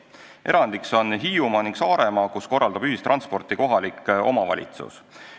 Erandiks on Hiiumaa ning Saaremaa, kus korraldab ühistransporti kohalik omavalitsus.